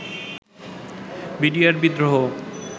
BDR বিদ্রোহ